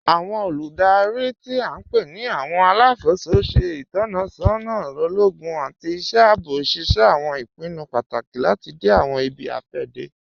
Awọn olúdárí tí a npe ni awọn alákó̩sọ ṣẹ̀ itọsọna ologun àti iṣẹ̀ àabọ̀, ṣíṣẹ̀ awọn ìpìnnú pátákì láti dẹ̀ awọn ìbí-afẹdẹ.